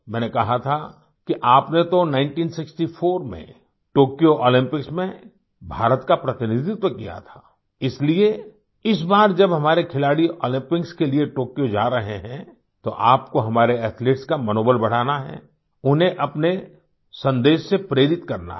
मैंने कहा था कि आपने तो 1964 में टोक्यो ओलम्पिक्स में भारत का प्रतिनिधित्व किया था इसलिए इस बार जब हमारे खिलाड़ीओलम्पिक्स के लिए टोक्यो जा रहे हैं तोआपको हमारे एथलीट्स का मनोबल बढ़ाना है उन्हें अपने संदेश से प्रेरित करना है